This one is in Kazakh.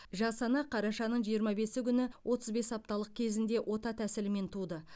жас ана қарашаның жиырма бесі күні отыз бес апталық кезінде ота тәсілімен туды